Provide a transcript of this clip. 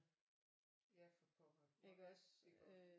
Ja for pokker og rigtig godt